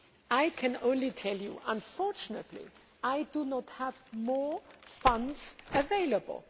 I can only tell you that, unfortunately, I do not have more funds available.